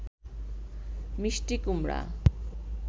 মিষ্টি কুমড়া